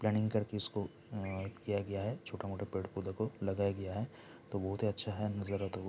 planning कर के इसको किया गया है छोटा-मोटा पेड-पौधा को लगाया गया है तो बहुत ही अच्छा है नजारा तो --